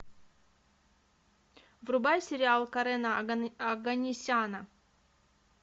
врубай сериал карена оганесяна